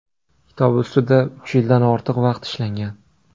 Kitob ustida uch yildan ortiq vaqt ishlangan.